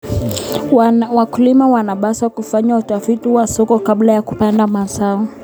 Wakulima wanapaswa kufanya utafiti wa soko kabla ya kupanda mazao.